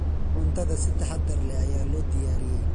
Cuntada si taxadar leh ayaa loo diyaariyey.